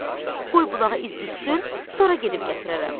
Qoy bulağa iz düşsün, sonra gedib gətirərəm.